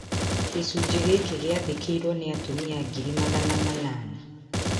Gĩcunjĩ gĩkĩ gĩathĩkĩirũo nĩ atumia ngiri magana manana